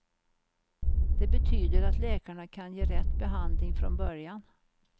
Det betyder att läkarna kan ge rätt behandling från början.